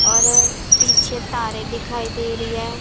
और पीछे तारे दिखाई दे रही है।